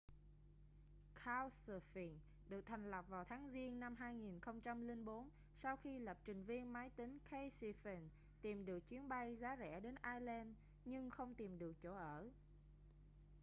couchsurfing được thành lập vào tháng giêng năm 2004 sau khi lập trình viên máy tính casey fenton tìm được chuyến bay giá rẻ đến iceland nhưng không tìm được chỗ ở